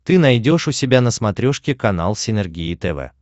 ты найдешь у себя на смотрешке канал синергия тв